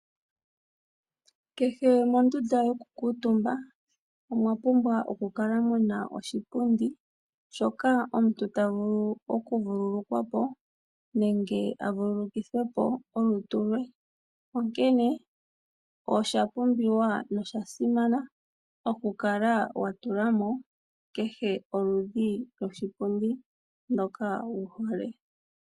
Kehe mondunda yokukuutumba omwa pumbwa okukala mu na oshipundi, shoka omuntu ta vulu okuvululukwa po nenge a vululukithe po olutu lwe. Onkene osha pumbiwa nosha simana okukala wa tula mo kehe oludhi lwoshipundi shoka ndoka wu hole.